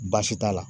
Baasi t'a la